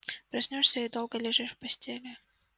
проснёшься и долго лежишь в постели